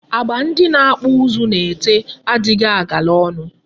Agba ndị na-akpụ ụzụ na-ete adịghị agala ọnụ.